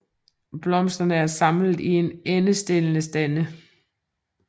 Blomsterne er samlet i endestillede stande